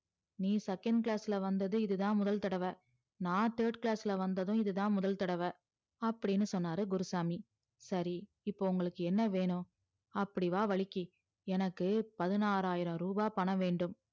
நீ second class ல வந்தது இது தான் முதல் தடவ நான் third class ல வந்ததும் இதான் முதல் தடவ அப்டின்னு சொன்னாரு குருசாமி சரி இப்ப உங்களுக்கு என்ன வேணும் அப்டி வா வலிக்கி பதினாறாயிரம் ரூபாய் எனக்கு பணம் வேண்டும்